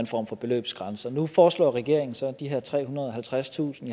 form for beløbsgrænse nu foreslår regeringen så de her trehundrede og halvtredstusind